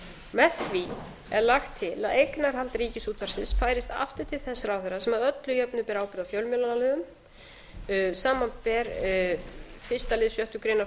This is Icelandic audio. með því er lagt til að eignarhald ríkisútvarpsins færist aftur til þess ráðherra sem að öllu jöfnu ber ábyrgð á fjölmiðlalögum samanber fyrsta lið sjöttu grein